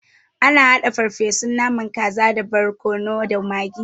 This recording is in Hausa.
Ana haɗa farfesun naman kaza da borkono da magi.